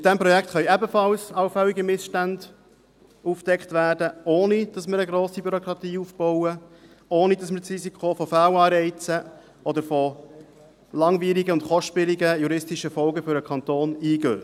Mit diesem Projekt können ebenfalls allfällige Missstände aufgedeckt werden, ohne dass wir eine grosse Bürokratie aufbauen, ohne dass wir das Risiko von Fehlanreizen oder von langwierigen und kostspieligen juristischen Folgen für den Kanton eingehen.